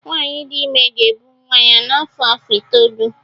Nwaanyi di ime ga-ebu nwa ya n'afọ afọ itoolu